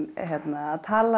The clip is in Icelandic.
að tala